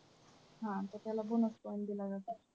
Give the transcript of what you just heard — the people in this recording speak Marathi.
हां तर त्याला bonus point दिला जातो.